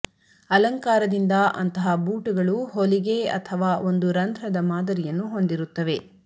ಅಲಂಕಾರದಿಂದ ಅಂತಹ ಬೂಟುಗಳು ಹೊಲಿಗೆ ಅಥವಾ ಒಂದು ರಂಧ್ರದ ಮಾದರಿಯನ್ನು ಹೊಂದಿರುತ್ತವೆ